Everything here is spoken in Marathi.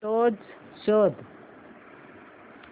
फोटोझ शोध